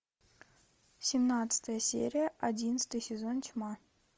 семнадцатая серия одиннадцатый сезон тьма